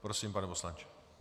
Prosím, pane poslanče.